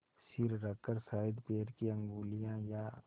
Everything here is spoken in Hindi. सिर रखकर शायद पैर की उँगलियाँ या